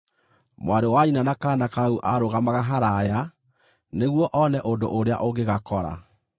Mwarĩ wa nyina na kaana kau aarũgamaga haraaya nĩguo one ũndũ ũrĩa ũngĩgakora.